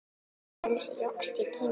Frelsi jókst í Kína.